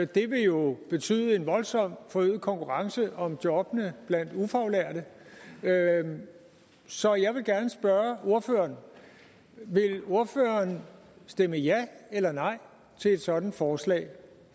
det vil jo betyde en voldsomt forøget konkurrence om jobbene blandt ufaglærte så jeg vil gerne spørge ordføreren vil ordføreren stemme ja eller nej til et sådant forslag